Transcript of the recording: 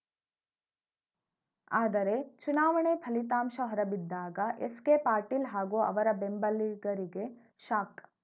ಆದರೆ ಚುನಾವಣೆ ಫಲಿತಾಂಶ ಹೊರಬಿದ್ದಾಗ ಎಸ್‌ಕೆ ಪಾಟೀಲ್‌ ಹಾಗೂ ಅವರ ಬೆಂಬಲಿಗರಿಗೆ ಶಾಕ್‌